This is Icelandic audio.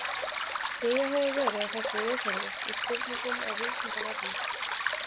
Ýjað hefur verið að þessu viðhorfi í spurningum á Vísindavefnum.